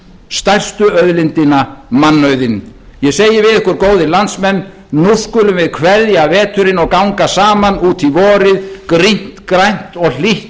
stærstu auðlindina mannauðinn ég segi við ykkur góðir landsmenn nú skulum við kveðja veturinn og ganga saman út í vorið grænt og hlýtt